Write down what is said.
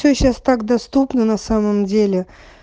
все сейчас так доступна на самом деле